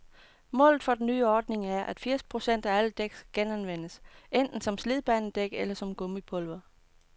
Målet for den nye ordning er, at firs procent af alle dæk skal genanvendes, enten som slidbanedæk eller som gummipulver.